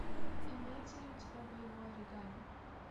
имеется ли у тебя боевое оригами